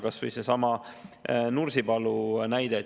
Kas või seesama Nursipalu näide.